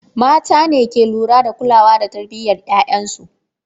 Mata ne ke lura da kulawa da tarbiyyar ‘ya’yansu.